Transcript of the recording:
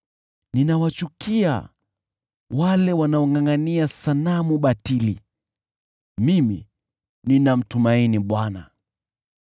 Ninawachukia wale wanaongʼangʼania sanamu batili; mimi ninamtumaini Bwana .